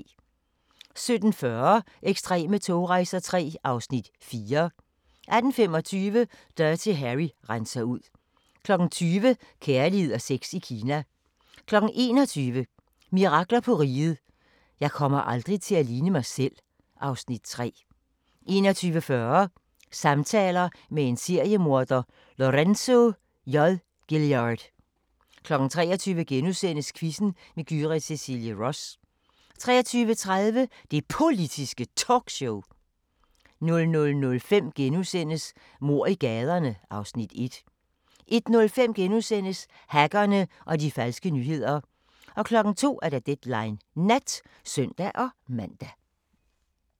17:40: Ekstreme togrejser III (Afs. 4) 18:25: Dirty Harry renser ud 20:00: Kærlighed og sex i Kina 21:00: Mirakler på Riget – Jeg kommer aldrig til at ligne mig selv (Afs. 3) 21:40: Samtaler med en seriemorder – Lorenzo J. Gilyard 23:00: Quizzen med Gyrith Cecilie Ross * 23:30: Det Politiske Talkshow 00:05: Mord i gaderne (Afs. 1)* 01:05: Hackerne og de falske nyheder * 02:00: Deadline Nat (søn-man)